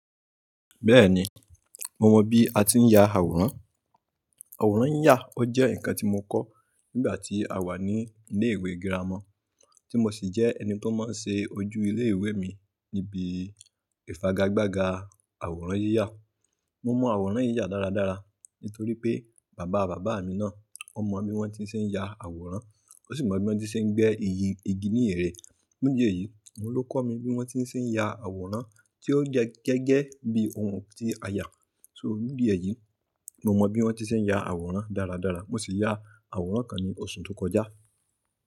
Bẹ́ẹ̀ni, mo mọ bí a ti ń ya àwòrán. Àwòrán yiyà, ó jẹ́ ǹkan tí mo kọ nígbà tí a wà ní ilé ìwé girama, tí mo sì jẹ́ ẹni tó máa ń ṣe ojú ilé ìwé mi níbi ìfagagbága àwòrán yíyà. Mo mọ àwòrán yíyà dáradára nítorí pé bàbá bàbá mi náà, ọ mọ bi wọ́n ti ṣé ń ya àwòrán. Ó sì mọ bí wọ́n ti ṣé ń gbé iyì igi ní ẹ̀rẹ̀. Fun ìdi eyìí, òun ló kọ́ mi bí wọ́n ti ṣé ń ya àwòrán tí ó jẹ́ gẹ́gẹ́ bí ohun tí a yà. So bódìyẹ̀ yìí, mo mọ bí wọ́n ti ṣé ń ya àwòrán dáradára. Mo sì ya àwòrán kan ní oṣù tó kọjá.